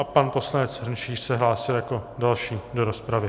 A pan poslanec Hrnčíř se hlásil jako další do rozpravy.